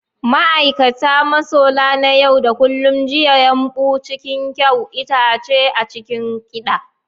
Ma'aikata, masola na yau da kullun, juya yumɓu cikin kyau, itace a cikin kiɗa.